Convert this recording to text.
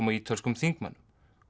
og ítölskum þingmönnum